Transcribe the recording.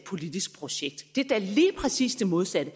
politisk projekt det er da lige præcis det modsatte